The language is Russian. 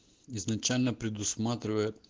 изначально предусмотривает